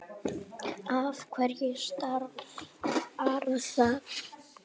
Af hverju stafar það?